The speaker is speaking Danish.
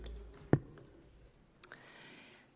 er